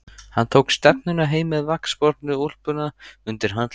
Hann tók stefnuna heim með vaxbornu úlpuna undir handleggnum.